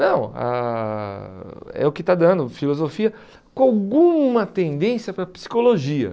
Não, ãh é o que está dando, filosofia com alguma tendência para psicologia.